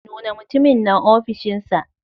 Nuna mutumin nan ofishinsa.